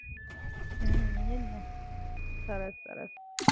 ઓહો હો, તો સરસ કેહવાય ને, સારું છે. એટલે કરી શકે.